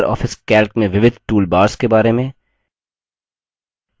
Libre office calc में विविध toolbars के बारे में